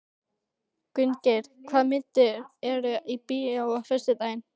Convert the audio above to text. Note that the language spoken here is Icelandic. Gunngeir, hvaða myndir eru í bíó á föstudaginn?